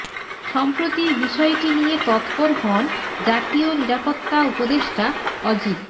সম্প্রতি বিষয়টি নিয়ে তৎপর হন জাতীয় নিরাপত্তা উপদেষ্টা অজিত